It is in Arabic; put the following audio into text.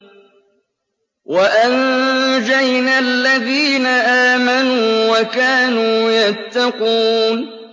وَأَنجَيْنَا الَّذِينَ آمَنُوا وَكَانُوا يَتَّقُونَ